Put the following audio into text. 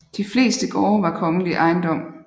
De fleste gårde var kongelig ejendom